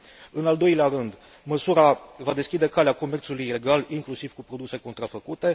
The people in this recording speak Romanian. În al doilea rând, măsura va deschide calea comerțului ilegal, inclusiv cu produse contrafăcute.